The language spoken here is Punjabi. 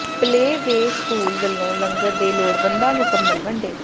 ਪਲੇਅ ਵੇਅ ਸਕੂਲ ਵਲੋਂ ਲੰਗਰ ਤੇ ਲੋੜਵੰਦਾਂ ਨੂੰ ਕੰਬਲ ਵੰਡੇ